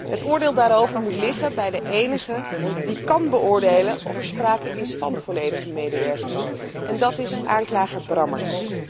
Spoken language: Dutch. Het oordeel daarover moet liggen bij de enige die kan beoordelen of er sprake is van volledige medewerking en dat is aanklager Brammertz.